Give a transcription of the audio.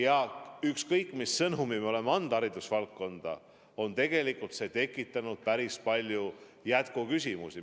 Aga ükskõik mis sõnumi me oleme haridusvaldkonda saatnud, on see tekitanud päris palju jätkuküsimusi.